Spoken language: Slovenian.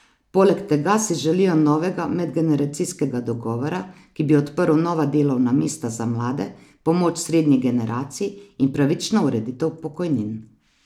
Poleg tega si želijo novega medgeneracijskega dogovora, ki bi odprl nova delovna mesta za mlade, pomoč srednji generaciji in pravično ureditev pokojnin.